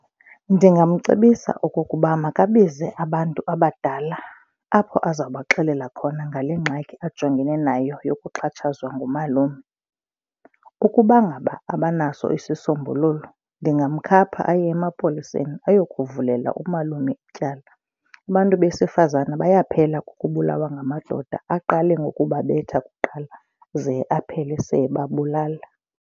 Ndingamcebisa okokuba makabize abantu abadala apho aza kubaxelela khona ngale ngxaki ajongene nayo yokuxhatshazwa ngumalume. Ukuba ngaba abanaso isisombululo ndingamkhapha aye emapoliseni ayokuvulela umalume ityala. Abantu besifazane bayaphela kukubulawa ngamadoda, aqale ngokubabetha kuqala ze aphele se ebabulala.